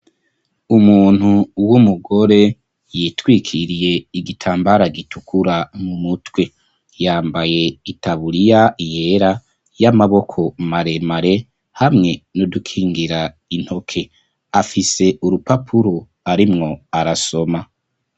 Umuntu w'umugore yitwikiriye igitambara gitukura mu mutwe, yambaye itaburiya yera y'amaboko maremare hamwe n'udukingira intoke, afise urupapuro arimwo arasoma.